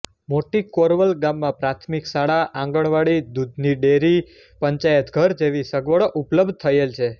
મોટી કોરવલ ગામમાં પ્રાથમિક શાળા આંગણવાડી દૂધની ડેરી પંચાયતઘર જેવી સગવડો ઉપલબ્ધ થયેલ છે